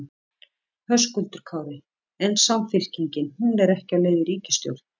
Höskuldur Kári: En Samfylkingin, hún er ekki á leið í ríkisstjórn?